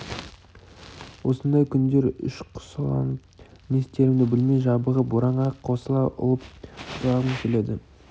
осындай күндері ішқұсаланып не істерімді білмей жабығып боранға қосыла ұлып жылағым келеді